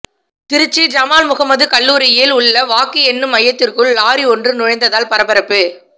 திருச்சி ஜமால் முகமது கல்லூரியில் உள்ள வாக்கு எண்ணும் மையத்துக்குள் லாரி ஒன்று நுழைந்ததால் பரபரப்பு